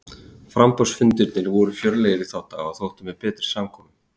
Framboðsfundirnir voru fjörlegir í þá daga og þóttu með betri samkomum.